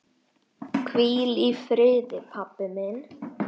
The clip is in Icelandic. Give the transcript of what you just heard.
Hvíl í friði, pabbi minn.